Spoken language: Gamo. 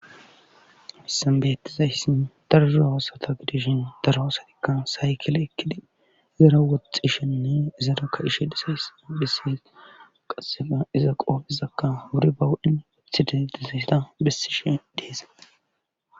Hayssan beyettizayssin darzo haasata gidishin daroasatikka saykile ekkidi izera woxxishenne izarakka ishe disaysa bhissi qassega iza qoofizakka wuri bawudin weththide dizaysta bessishe deesa